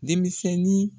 Denmisɛnnin